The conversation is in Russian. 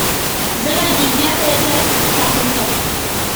заводи пятая часть каприка